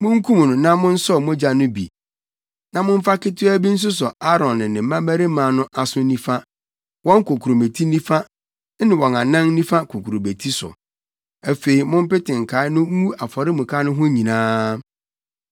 Munkum no na monsɔw mogya no bi na momfa ketewaa bi nsosɔ Aaron ne ne mmabarima no aso nifa, wɔn kokurobeti nifa ne wɔn anan nifa kokurobeti so. Afei mompete nkae no ngu afɔremuka no ho nyinaa.